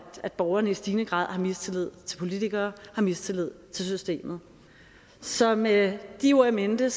borgerne i stigende grad har mistillid til politikere har mistillid til systemet så med de ord in mente